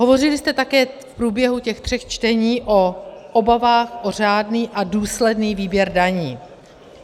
Hovořili jste také v průběhu těch tří čtení o obavách o řádný a důsledný výběr daní.